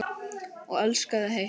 Og elskaði heitt.